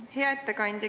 Hea ettekandja!